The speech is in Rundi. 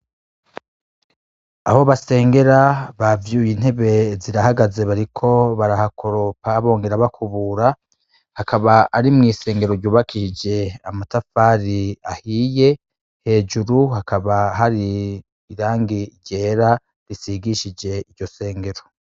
Aho basengera bavyuye intebe zirahagaze bariko barahakoropa, bongera bakubura, hakaba ari mw'isengero ryubakshiije amatafari ahiye, hejuru hakaba hari irangi ryera risigishije iryo sengero.